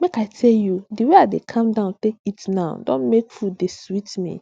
make i tell you the way i dey calm down take eat now don make food dey sweet me